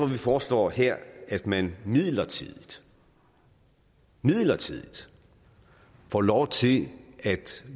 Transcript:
vi foreslår her at man midlertidigt midlertidigt får lov til